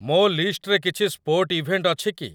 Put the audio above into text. ମୋ ଲିଷ୍ଟ୍‌ରେ କିଛି ସ୍ପୋର୍ଟ୍ ଇଭେଣ୍ଟ୍ ଅଛି କି